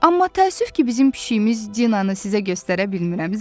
Amma təəssüf ki, bizim pişiyimiz Dinanı sizə göstərə bilmirəm.